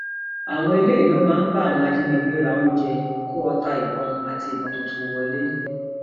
àwọn eléyìí ló máa ń bá àwọn ajínigbé ra oúnjẹ kó ọta ìbọn àti ìbọn tuntun wọlẹ